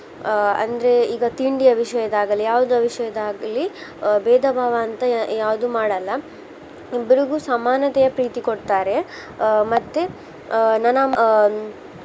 ಆ ಅಂದ್ರೆ ಈಗ ತಿಂಡಿಯ ವಿಷಯದಾಗಲಿ ಯಾವ್ದೊ ವಿಷಯದಾಗಲಿ ಆ ಬೇಧಭಾವ ಅಂತ ಯಾವ್ದು ಮಾಡಲ್ಲ. ಇಬ್ರಿಗು ಸಮಾನತೆಯ ಪ್ರೀತಿ ಕೊಡ್ತಾರೆ. ಆ ಮತ್ತೆ ಆ ನನ್ನಮ್ಮ